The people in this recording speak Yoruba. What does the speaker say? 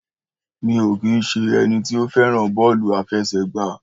Mi ò kín ṣe ẹniti ó fẹ́ràn Bọ́ọ́lù àfesẹ̀gbá